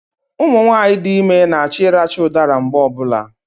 Ụmụnwaanyị dị ime na-achọ ịracha ụdara mgbe ọbụla